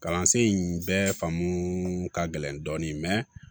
Kalansen in bɛɛ faamu ka gɛlɛn dɔɔnin